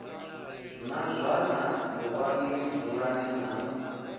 na zwana ṱuwani dzulani na